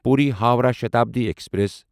Puri Howrah Shatabdi express